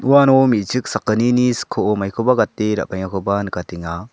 uano me·chik sakgnini skoo maikoba gate ra·baengakoba nikatenga.